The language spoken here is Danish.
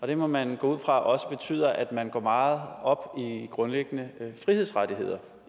det må man gå ud fra også betyder at man går meget op i grundlæggende frihedsrettigheder